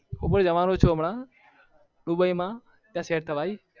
હું પણ જવાનો છુ હમણાં દુબઈ માં set કરાવીસ